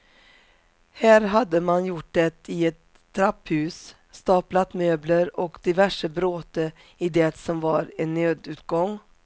Här hade man gjort det i ett trapphus, staplat möbler och diverse bråte i det som var en nödutgång.